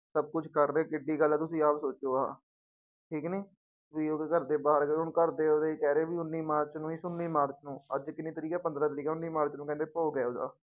ਸਭ ਕੁਛ ਕਰ ਰਹੇ ਕਿੱਡੀ ਗੱਲ ਹੈ ਤੁਸੀਂ ਆਪ ਸੋਚੋ ਆਹ, ਠੀਕ ਨੀ ਵੀ ਉਹਦੇ ਘਰਦੇ ਬਾਹਰ ਘਰਦੇ ਉਹਦੇ ਕਹਿ ਰਹੇ ਵੀ ਉੱਨੀ ਮਾਰਚ ਨੂੰ ਇਸ ਉੱਨੀ ਮਾਰਚ ਨੂੰ ਅੱਜ ਕਿੰਨੀ ਤਰੀਕ ਹੈ ਪੰਦਰਾਂ ਤਰੀਕ ਹੈ ਉੱਨੀ ਮਾਰਚ ਨੂੰ ਕਹਿੰਦੇ ਭੋਗ ਹੈ ਉਹਦਾ।